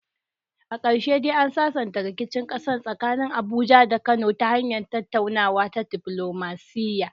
A karshe dai an sasanta rikicin kasa tsakanin Abuja da Kano ta hanyar tattaunawa ta diflomasiya.